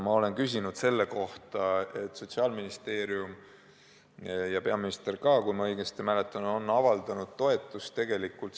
Ma olen küsinud selle kohta ja Sotsiaalministeerium ja peaminister ka, kui ma õigesti mäletan, on avaldanud sellele ettepanekule toetust.